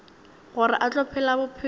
gore o tla phela bophelo